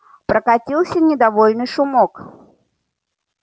прокатился недовольный шумок